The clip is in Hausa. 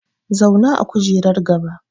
Zauna a kujerar gaba!